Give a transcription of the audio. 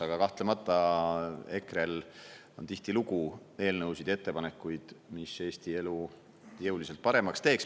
Aga kahtlemata, EKRE-l on tihtilugu eelnõusid ja ettepanekuid, mis Eesti elu jõuliselt paremaks teeks.